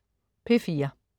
P4: